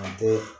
An tɛ